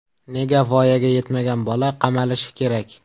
Nega voyaga yetmagan bola qamalishi kerak?